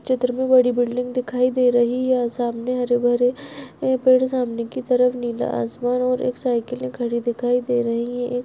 चित्र मे बड़ी बिल्डिंग दिखाई दे रही है सामने हरे भरे पेड़ सामने की तरफ नीला आसमान और एक साइकिल खड़ी दिखाई दे रही है एक--